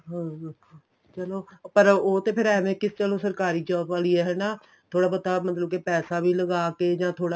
ਹਾਂ ਚਲੋਂ ਪਰ ਉਹ ਤੇ ਫ਼ਿਰ ਐਵੇਂ ਏ ਚਲੋਂ ਸਰਕਾਰੀ job ਆਲੀ ਏ ਹਨਾ ਥੋੜਾ ਬਹੁਤਾ ਮਤਲਬ ਕੇ ਪੈਸਾ ਵੀ ਲਗਾਕੇ ਜਾਂ ਥੋੜਾ